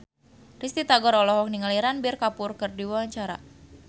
Risty Tagor olohok ningali Ranbir Kapoor keur diwawancara